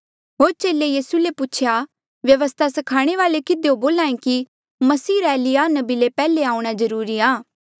होर चेले यीसू ले पूछेया व्यवस्था स्खाणे वाल्ऐ किधियो बोल्हा ऐें कि मसीहा रा एलिय्याह नबी ले पैहले आऊंणा जरूरी आ